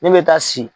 Ne bɛ taa si